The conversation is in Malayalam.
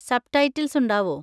സബ്‌ടൈറ്റിൽസ് ഉണ്ടാവോ?